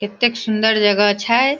ऐतेक सुन्दर जगह छै।